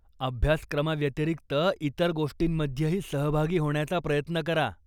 अभ्यासक्रमाव्यतिरिक्त इतर गोष्टींमध्येही सहभागी होण्याचा प्रयत्न करा.